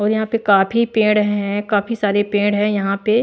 और यहां पे काफी पेड़ हैं काफी सारे पेड़ है यहां पे--